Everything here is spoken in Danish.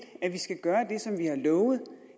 at vi skal gøre det som vi har lovet